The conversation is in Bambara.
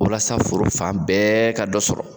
Walasa la foro fan bɛɛ ka dɔ sɔrɔ